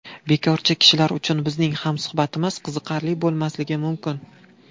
Bekorchi kishilar uchun bizning hamsuhbatimiz qiziqarli bo‘lmasligi mumkin.